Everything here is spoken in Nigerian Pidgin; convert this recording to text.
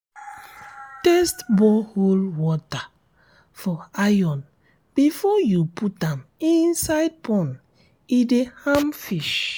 test borehole water for iron before you put am inside pond e de harm fish